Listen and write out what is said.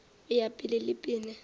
go ya pele le pele